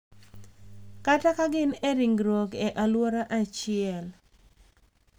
Kata ka gin e ringruok e alwora achiel.